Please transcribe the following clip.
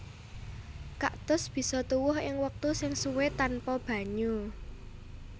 Kaktus bisa tuwuh ing wektu sing suwé tanpa banyu